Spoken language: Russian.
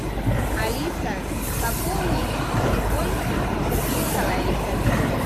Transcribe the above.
алиса пополни телефон сергея николаевича